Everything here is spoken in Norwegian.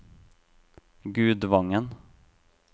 Gudvangen